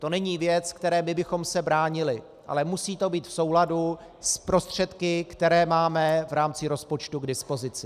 To není věc, které my bychom se bránili, ale musí to být v souladu s prostředky, které máme v rámci rozpočtu k dispozici.